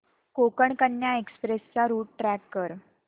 Konkan Kanya express चा route track कर